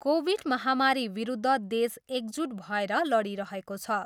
Covid महामारीविरुद्ध देश एकजुट भएर लडिरहेको छ।